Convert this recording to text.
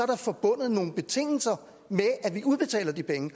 der forbundet nogle betingelser med at udbetale de penge